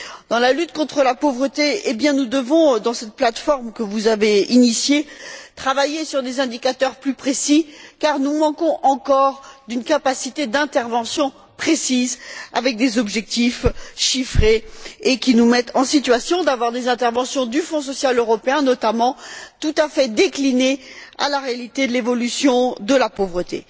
Dans la lutte contre la pauvreté, nous devons, dans cette plateforme que vous avez initiée, travailler sur des indicateurs plus précis car nous manquons encore d'une capacité d'intervention précise avec des objectifs chiffrés, qui nous permette d'avoir des interventions du Fonds social européen notamment tout à fait déclinées à la réalité de l'évolution de la pauvreté.